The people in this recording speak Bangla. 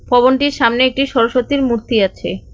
ভবনটির সামনে একটি সরস্বতীর মূর্তি আছে।